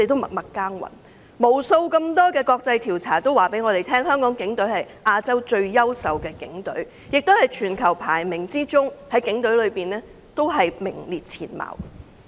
無數國際調查告訴我們，香港警隊是亞洲最優秀的警隊，亦在全球警隊的排名中名列前茅。